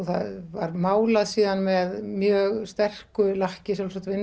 það var málað síðan með mjög sterku lakki sjálfsagt